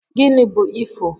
Gini bu ifo?